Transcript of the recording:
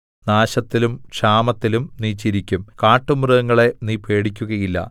നാശത്തിലും ക്ഷാമത്തിലും നീ ചിരിക്കും കാട്ടുമൃഗങ്ങളെ നീ പേടിക്കുകയില്ല